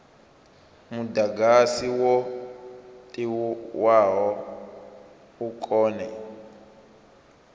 mudagasi wo tiwaho u kone